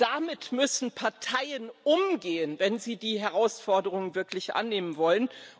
Damit müssen Parteien umgehen, wenn sie die Herausforderung wirklich annehmen wollen.